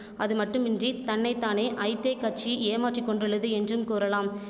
அதுமட்டுமின்றி தன்னை தானே ஐதேக்கட்சி ஏமாற்றிக்கொண்டுள்ளது என்றும் கூறலாம்